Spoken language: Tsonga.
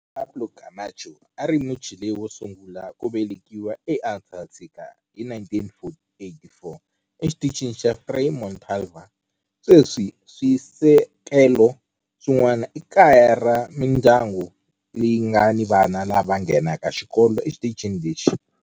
Juan Pablo Camacho a a ri Muchile wo sungula ku velekiwa eAntarctica hi 1984 eXitichini xa Frei Montalva. Sweswi swisekelo swin'wana i kaya ra mindyangu leyi nga ni vana lava nghenaka xikolo exitichini lexi.